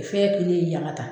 fɛn kelen yaŋa ta